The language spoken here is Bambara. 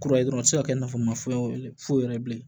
Kura ye dɔrɔn u ti se ka kɛ nafolo ma foyi foyi yɛrɛ ye bilen